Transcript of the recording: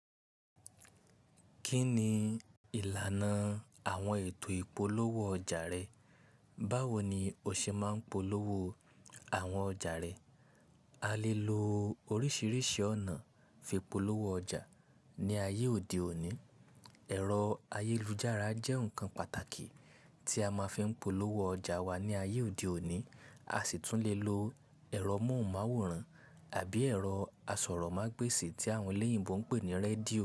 Kí ni ìlànà àwọn ètò ìpolówó ọjà rẹ? Báwo ni o ṣe máa ń polówó àwọn ọjà rẹ? A lè lo oríṣiríṣi ọ̀nà fi polówó ọjà ní ayé òde òní. Ẹ̀rọ ayélujára jẹ́ nǹkan pàtàkì tí a máa ń polówó ọjà wa ní ayé òde òní. A sì tún lè lo ẹ̀rọ móhùnmáwòrán àbí ẹ̀rọ asọ̀rọ̀mágbèsì tí àwọn olèyìnbó ń pè ní rédíò.